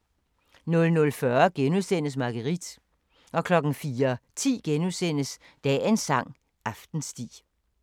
00:40: Marguerite * 04:10: Dagens sang: Aftensti *